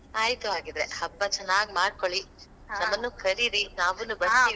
ಆಯ್ತು ಹಾಗಿದ್ರೆ ಹಬ್ಬ ಚೆನ್ನಾಗ್ ಮಾಡ್ಕೊಳ್ಳಿ ಕರೀರಿ ನಾವೂನು .